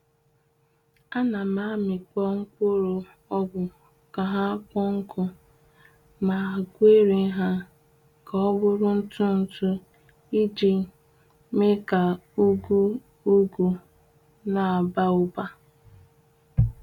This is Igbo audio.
Ana m amikpo mkpụrụ ogbu ka ha kpọọ nkụ, ma gwerie ha ka ọ bụrụ ntụ-ntụ iji mee ka ugwu ụgụ n’aba ụba.